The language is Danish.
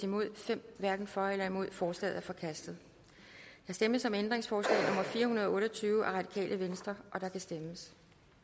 hverken for eller imod stemte fem forslaget er forkastet der stemmes om ændringsforslag nummer fire hundrede og otte og tyve af rv og der kan stemmes